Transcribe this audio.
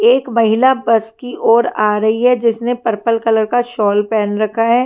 एक महिला बस की ओर आ रही है जिसने पर्पल कलर का शॉल पहन रखा है।